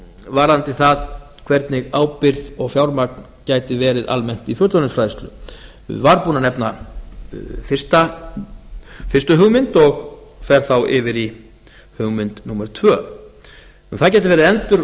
varðandi það hvernig ábyrgð og fjármagn gæti verið almennt í fullorðinsfræðslu var búinn að nefna fyrstu hugmynd og fer þá yfir í hugmynd númer tvö önnur endur og